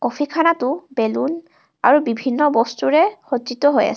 Balloon আৰু বিভিন্ন বস্তুৰে সৰ্জ্জিত হৈ আছে।